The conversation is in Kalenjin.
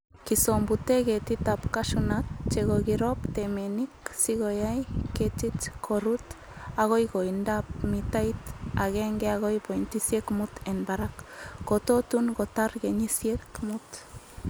Kisombute ketitab cashew nut chekakirob temenik sikoyai ketik korut agoi koindab mitait akenke akoi pointisiek mut en barak. Kototun kotar kenyisiek mut.